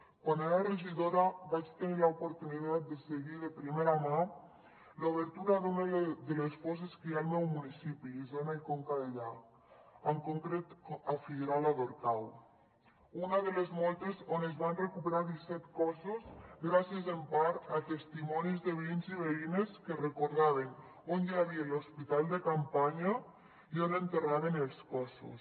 quan era regidora vaig tenir l’oportunitat de seguir de primera mà l’obertura d’una de les fosses que hi ha al meu municipi isona i conca dellà en concret a figuerola d’orcau una de les moltes on es van recuperar disset cossos gràcies en part a testimonis de veïns i veïnes que recordaven on hi havia l’hospital de campanya i on enterraven els cossos